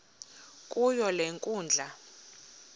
kuyo le nkundla